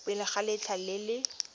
pele ga letlha le le